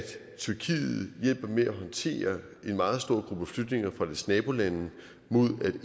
tyrkiet hjælper med at håndtere en meget stor gruppe flygtninge fra dets nabolande mod at eu